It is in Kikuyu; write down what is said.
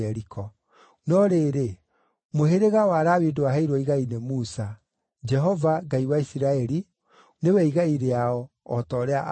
No rĩrĩ, mũhĩrĩga wa Lawi ndwaheirwo igai nĩ Musa; Jehova, Ngai wa Isiraeli, nĩwe igai rĩao, o ta ũrĩa aamerĩire.